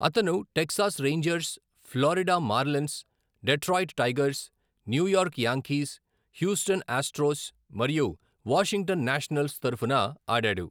అతను Texas Rangers, Florida Marlins, Detroit Tigers, New York Yankees, Houston Astros, మరియు Washington Nationals తరఫున ఆడాడు.